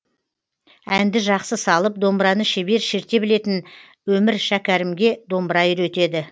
әнді жақсы салып домбыраны шебер шерте білетін өмір шәкәрімге домбыра үйретеді